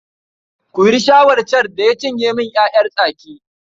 Kuri Shaho can da ya cinye min ‘ya’yan tsaki.